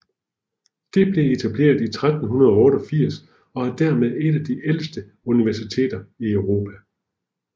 Det blev etableret i 1388 og er dermed et af de ældste universiteter i Europa